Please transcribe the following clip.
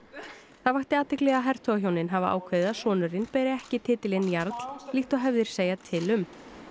það vakti athygli að hafa ákveðið sonurinn beri ekki titilinn jarl líkt og hefðir segja til um